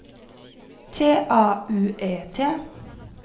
T A U E T